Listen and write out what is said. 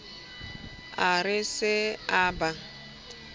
a re se a ba